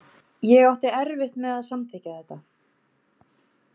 Ég átti erfitt með að samþykkja þetta.